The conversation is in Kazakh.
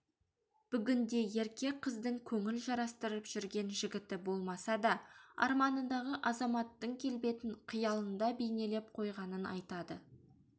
бүгінде ерке қыздың көңіл жарастырып жүрген жігіті болмаса да арманындағы азаматтың келбетін қиялында бейнелеп қойғанын айтады